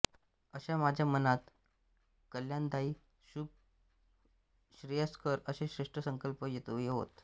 अशा माझ्या मनात कल्याणदायीशुभश्रेयस्कर असे श्रेष्ठ संकल्प येवोत